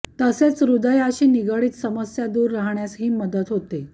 तसेच हृदयाशी निगडीत समस्या दूर राहण्यास ही मदत होते